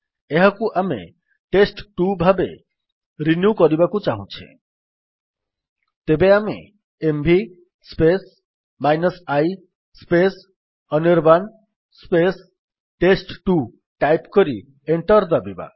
ଏହାକୁ ଆମେ ଟେଷ୍ଟ2 ଭାବେ ରିନ୍ୟୁ କରିବାକୁ ଚାହୁଁଛେ ତେବେ ଆମେ MV i Anirban test two type କରି ଏଣ୍ଟର୍ ଦାବିବା